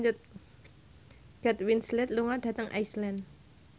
Kate Winslet lunga dhateng Iceland